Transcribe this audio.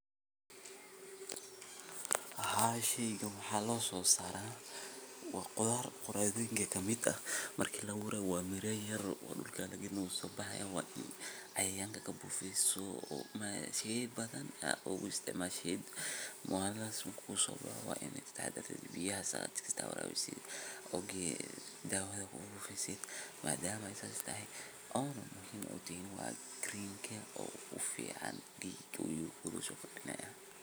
Haa sheyga waxa lososarayaa wa quthar qutharoinka kamid ah marki laawurayo wa in ad miro yar dulka lagalina wusobahayaa wa in cayayanka kabufiso si bathan a oguistacmashid maana su kugusobohoo wa inbathan ukugusoboho wa inad katahadartid biyaha wa in suwax walbo warawisid ok dawatha kugushubtid madama ey sas tahay green ka wuhu ugufcnyahay digaa usocelinaya